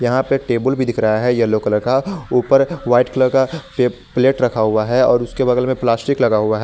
यहां पे एक टेबुल भी दिख रहा है येलो कलर का ऊपर व्हाइट कलर का प्लेट रखा हुआ है और उसके बगल में प्लास्टिक लगा हुआ है।